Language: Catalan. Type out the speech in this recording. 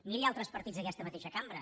miri altres partits d’aquesta mateixa cambra